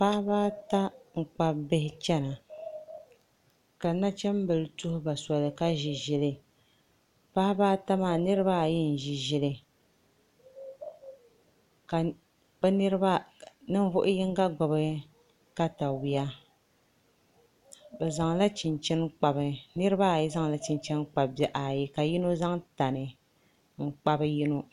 Paɣaba ata n kpabi bihi chɛna ka nachimbihi tuhuba soli ka ʒi ʒili paɣaba ata maa niraba ayi n ʒi ʒili ka ninvuɣu yinga gbubi katawiya bi niraba ayizaŋla chinchin kpabi bihi ayi ka yino zaŋ tani n kpabi yino